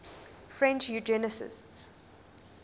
french eugenicists